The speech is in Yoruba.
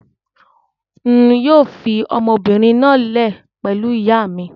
Ń yìí ó fii ọmọbìnrin náà lẹ̀ pẹ̀lú ìyà mi